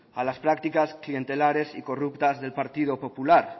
a las prácticas clientelares y corruptas del partido popular